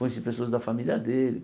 Conheci pessoas da família dele.